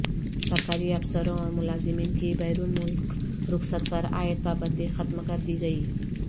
سرکاری افسروں اور ملازمین کی بیرون ملک رخصت پر عائد پابندی ختم کر دی گئی